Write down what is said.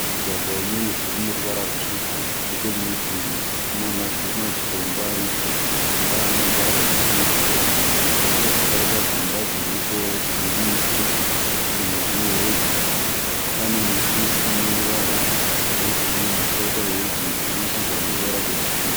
Mugwagwa uneivhu rineruvara rwutsvuku nechemurutivi munamazitombo aripo. Mazitombo aya aneruvara rwakachenerukira. Kobva kwaita dzimba dzIripo dzinemiti dzimwe dzine heji. Pane miti ineruvara rwegirinhi poita heji inamashizha aneruvara rwegirinhi.